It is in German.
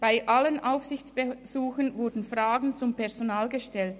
Bei allen Aufsichtsbesuchen wurden Fragen zum Personal gestellt.